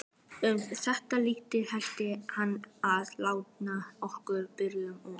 Um þetta leyti hætti hann að lána okkur Björgu og